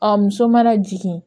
A muso mana jigin